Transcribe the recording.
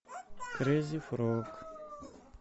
крейзи фрог